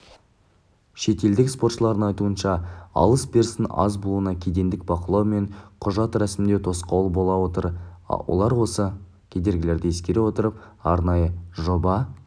шетелдік сарапшылардың айтуынша алыс-берістің аз болуына кедендік бақылау мен құжат рәсімдеу тосқауыл болып отыр олар осы кедергілерді ескере отырып арнайы жоба